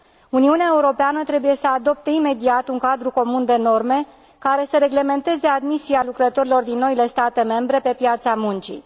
Uniunea Europeană trebuie să adopte imediat un cadru comun de norme, care să reglementeze admisia lucrătorilor din noile state membre pe piața muncii.